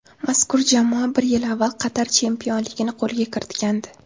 Mazkur jamoa bir yil avval Qatar chempionligini qo‘lga kiritgandi.